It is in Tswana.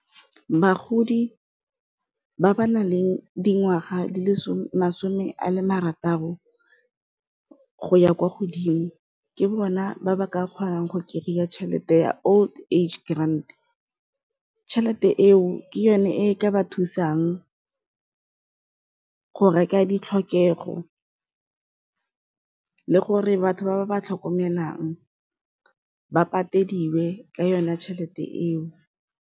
Bagodi ba ba nang le dingwaga di le masome a marataro go ya kwa godimo ke bona ba ba ka kgonang go kry-a tšhelete ya old age grand, tšhelete eo ke yone e ka ba thusang go reka ditlhokego le gore batho ba ba ba tlhokomelang ba patediwe ka yone tšhelete eo.